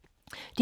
DR K